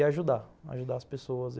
E ajudar, ajudar as pessoas.